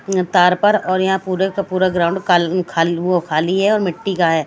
तार पर और यहाँ पूरे का पूरा ग्राउंड का खाली वो खाली है और मिट्टी का है।